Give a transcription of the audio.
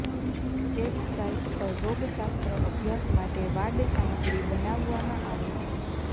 ચેપ સાઇટ પર રોગશાસ્ત્ર અભ્યાસ માટે વાડ સામગ્રી બનાવવામાં આવે છે